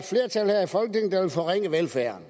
herre